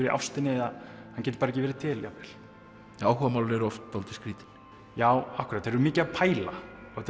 í ástinni eða hann getur ekki verið til jafnvel áhugamálin eru oft dálítið skrýtin já þeir eru mikið að pæla